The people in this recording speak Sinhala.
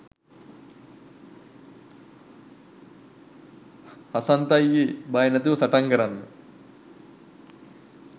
හසන්ත අයියේ බය නැතුව සටන් කරන්න